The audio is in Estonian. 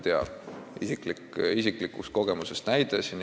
Näide isiklikust kogemusest.